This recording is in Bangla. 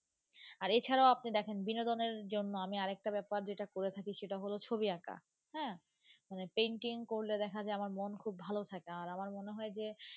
আর এই ছাড়াও আপনি দেখেন বিনোদনের জন্য আমি আর একটা ব্যাপার যেটা করে থাকি সেটা হল ছবি আঁকা, হ্যাঁ মানে painting করলে দেখা যায় আমার মন খুব ভালো থাকে আর আমার মনে হয় যে,